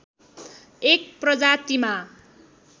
एक प्रजातिमा